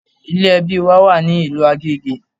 Ilé ẹbí wa wà ní ìlú Agége